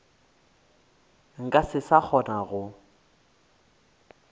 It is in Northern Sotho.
nka se sa kgona go